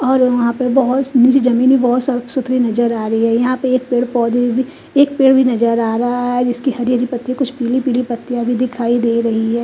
और वहा पे बोहोत मुझे जमीन भी बोहोत साफ सुधतरी नज़र आ रही है यहां पे पेड़ पौधे है एक पेड़ भी नज़र आ रहा है जिसकी हरी हरी पत्तिया कुछ पीली पीली पत्तिया भी दिखाई दे रही है ।